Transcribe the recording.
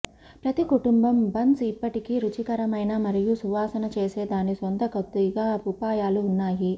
ప్రతి కుటుంబం బన్స్ ఇప్పటికీ రుచికరమైన మరియు సువాసన చేసే దాని సొంత కొద్దిగా ఉపాయాలు ఉన్నాయి